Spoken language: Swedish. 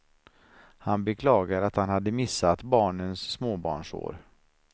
Han beklagade att han hade missat barnens småbarnsår.